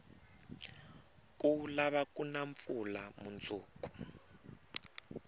ku lava kuna mpfula munduku